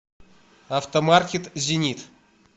автомаркет зенит